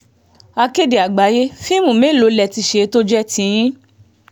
akéde àgbáyé fíìmù mélòó lè ti ṣe tó jẹ́ tiyín